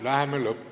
Läheme lõpp ...